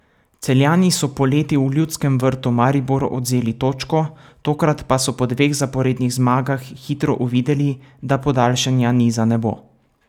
Celjani so poleti v Ljudskem vrtu Mariboru odvzeli točko, tokrat pa so po dveh zaporednih zmagah hitro uvideli, da podaljšanja niza ne bo.